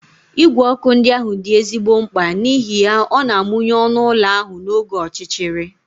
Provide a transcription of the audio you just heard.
Igwe ọkụ ndị ahụ dị ezigbo mkpa n'ihi ya ọ na-amụnye ọnụ ụlọ ahụ n'oge ọchịchịrị.